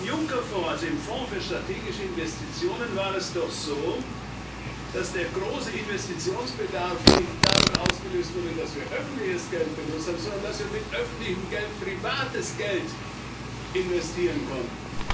Auch im Juncker Fonds, also im Fonds für strategische Investitionen, war es doch so, dass der große Investitionsbedarf nicht dadurch ausgelöst wurde, dass wir öffentliches Geld benutzt haben, sondern dadurch, dass wir mit öffentlichem Geld privates Geld investieren konnten.